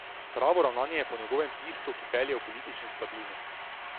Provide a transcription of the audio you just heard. Pravo ravnanje je po njegovem tisto, ki pelje v politično stabilnost.